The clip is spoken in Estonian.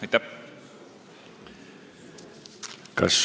Aitäh!